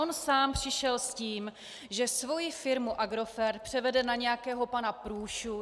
On sám přišel s tím, že svoji firmu Agrofert převede na nějakého pana Průšu.